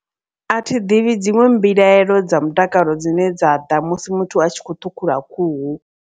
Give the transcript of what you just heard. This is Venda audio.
A thi ḓivhi dziṅwe mbilaelo dza mutakalo dzine dza ḓa musi muthu a tshi kho ṱhukhula khuhu.